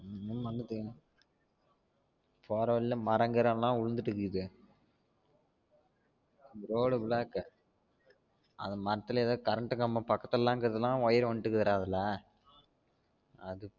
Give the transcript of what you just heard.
போற வழியில மரம் கிரம் லாம் உளுந்துட்டு இக்கிது road block ஆஹ் அந்த மரத்துல ஏதோ current கம்பம் பக்கத்துல லாம் இருக்குதுனா wire வண்ட்டு இருக்காதுடா அதுல